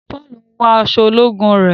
Paul ń wọ aṣọ ológun rẹ.